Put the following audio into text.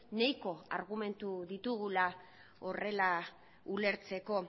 nahiko argumentu ditugula horrela ulertzeko